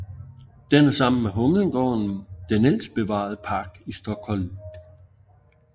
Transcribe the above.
Den er sammen med Humlegården den ældste bevarede park i Stockholm